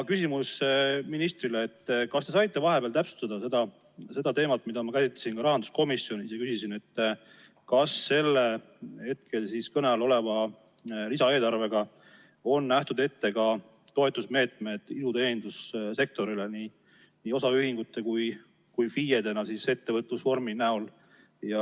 Küsimus ministrile: kas te saite vahepeal täpsustada seda teemat, mida ma käsitlesin rahanduskomisjonis, kui küsisin, kas kõne all oleva lisaeelarvega on ette nähtud toetusmeetmed ka iluteenindussektorile, nii osaühingutele kui ka FIE‑dele?